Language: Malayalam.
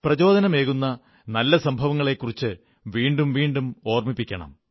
പ്രചോദനമേകുന്ന നല്ല സംഭവങ്ങളെക്കുറിച്ച് വീണ്ടും വീണ്ടും ഓർമ്മിപ്പിക്കണം